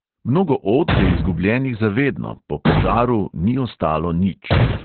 Mnogo od je izgubljenih za vedno, po požaru ni ostalo nič.